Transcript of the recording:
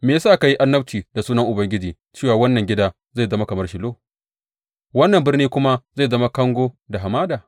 Me ya sa ka yi annabci da sunan Ubangiji cewa wannan gida zai zama kamar Shilo, wannan birni kuma zai zama kango da hamada?